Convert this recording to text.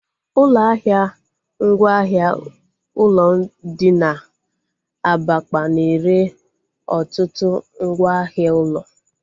Ụlọ ahịa ngwa ahịa ụlọ dị na Abakpa na-ere ọtụtụ ngwa ahịa ụlọ